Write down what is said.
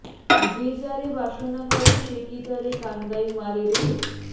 যে যারে বাসনা করে সে কি তারে কান্দাই মারে রে